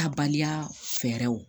Taabaliya fɛɛrɛw